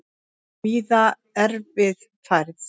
Víða erfið færð